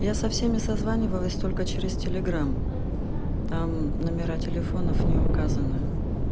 я со всеми созванивалась только через телеграм там номера телефонов не указано